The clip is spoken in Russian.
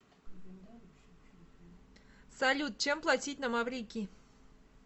салют чем платить на маврикии